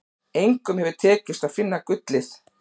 Engum hefur tekist að finna gullið.